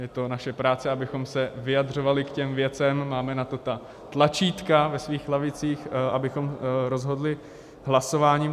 Je to naše práce, abychom se vyjadřovali k těm věcem, máme na to ta tlačítka ve svých lavicích, abychom rozhodli hlasováním.